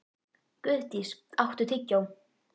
Guðdís, áttu tyggjó?